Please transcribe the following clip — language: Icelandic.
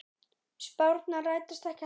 Spárnar rætast ekki alltaf.